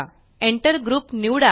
Enter group निवडा